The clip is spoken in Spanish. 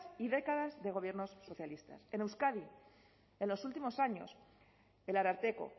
y décadas de gobiernos socialistas en euskadi en los últimos años el ararteko